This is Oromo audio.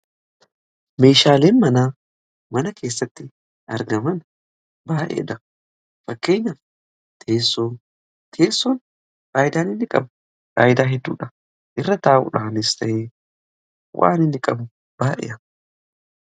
meeshaaleen mana mana keessatti argaman baadheedha fakkeenyaf teessoo teessoon faayidaan inni qabu faayidaa hedduudha irra taa'uudhaanesta'e waan inni qabu baadhea